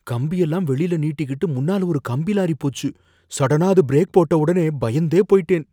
கம்பி எல்லாம் வெளில நீட்டிகிட்டு முன்னால ஒரு கம்பி லாரி போச்சு, சடனா அது பிரேக் போட்ட உடனே பயந்தே போயிட்டேன்.